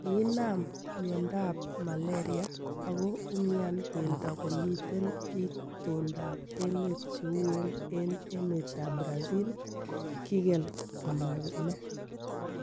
Kinaam mioondoab malaria ago umian geldo komiten itondab emet cheuen en emetab ab Brazil, kigel komaamee.